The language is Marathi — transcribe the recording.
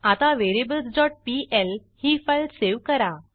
आता variablesपीएल ही फाईल सेव्ह करा